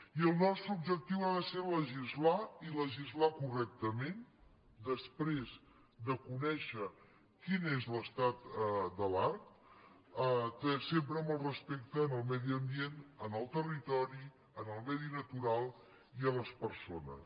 i el nostre objectiu ha de ser legislar i legislar correctament després de conèixer quin és l’estat de l’art sempre amb el respecte al medi ambient al territori al medi natural i a les persones